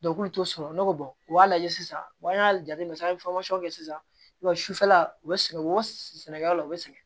k'ulu t'o sɔrɔ ne ko u b'a lajɛ sisan wa an y'a jateminɛ an ye kɛ sisan wa sufɛla o bɛ sigi u bɛ sɛnɛkɛlaw la u bɛ sɛgɛn